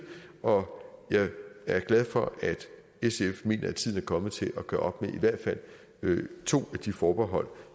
og jeg er glad for at sf mener at tiden er kommet til at gøre op i hvert fald to af de forbehold